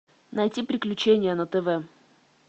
найти приключения на тв